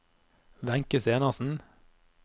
Wenche Stenersen